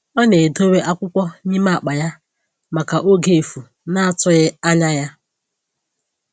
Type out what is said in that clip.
Ọ na-edowe akwụkwọ n'ime akpa ya maka oge efu na-atụghị anya ya